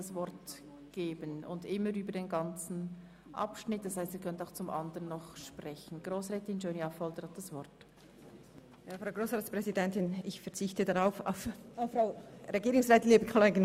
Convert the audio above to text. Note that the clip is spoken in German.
Sie können immer über den ganzen Themenblock sprechen, also auch zu den anderen Anträgen.